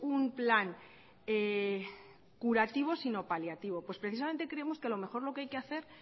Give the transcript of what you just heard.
un plan curativo sino paliativo pues precisamente creemos que a lo mejor lo que hay que hacer